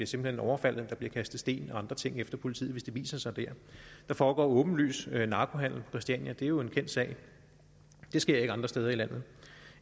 simpelt hen overfaldet der bliver kastet sten og andre ting efter politiet hvis de viser sig der der foregår åbenlys narkohandel christiania det er jo en kendt sag det sker ikke andre steder i landet